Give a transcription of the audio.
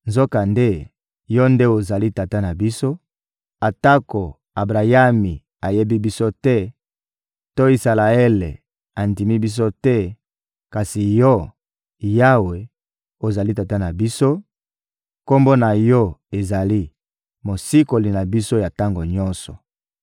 Nzokande, Yo nde ozali Tata na biso; atako Abrayami ayebi biso te to Isalaele andimi biso te; kasi Yo, Yawe, ozali Tata na biso, Kombo na Yo ezali: Mosikoli na biso ya tango nyonso.